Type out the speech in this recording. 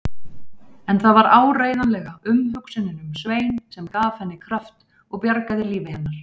En það var áreiðanlega umhugsunin um Svein sem gaf henni kraft og bjargaði lífi hennar.